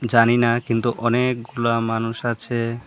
জানিনা কিন্তু অনেকগুলা মানুষ আছে।